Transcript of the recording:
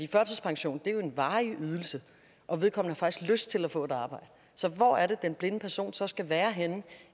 førtidspension er en varig ydelse og vedkommende har faktisk lyst til at få et arbejde så hvor er det den blinde person så skal være henne